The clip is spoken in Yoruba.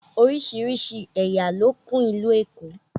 Oríṣiríṣi ẹ̀yà ló kún ìlú Èkó